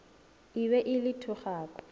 e be e le thogako